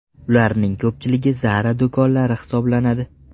Ularning ko‘pchiligi Zara do‘konlari hisoblanadi.